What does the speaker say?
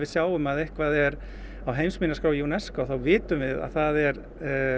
sjáum að eitthvað er á heimsminjaskrá UNESCO þá vitum við að það er